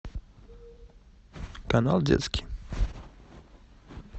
канал детский